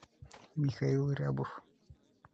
михаил рябов